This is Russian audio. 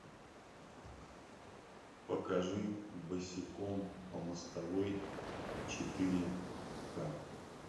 покажи босиком по мостовой четыре ка